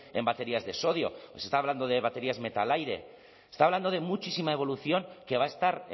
en baterías de sodio os estaba hablando de baterías metal aire estaba hablando de muchísima evolución que va a estar